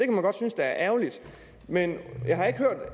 godt synes er ærgerligt men jeg har ikke hørt